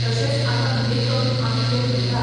तशेंच आतां मेकअप आमी जे म्हणटात,